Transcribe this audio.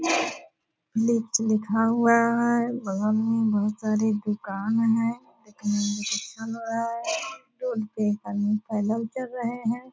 नीचे लिखा हुआ है बगल में बहुत सारी दूकान है देखने में तो अच्छा लग रहा है टोल पे एक आदमी पैदल चल रहे हैं।